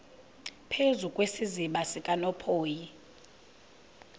phezu kwesiziba sikanophoyi